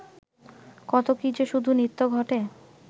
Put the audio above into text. কত কী-যে শুধু নিত্য ঘটে